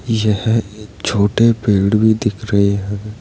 यह एक छोटे पेड़ भी दिख रहे है।